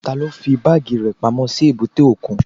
Taló fí báàgì rẹ̀ pamọ́ sí èbúté òkun?